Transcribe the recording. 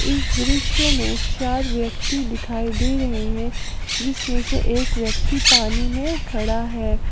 इस दृश्य में चार व्यक्ति दिखाई दे रहे हैं जिसमें से एक व्यक्ति पानी में खड़ा है।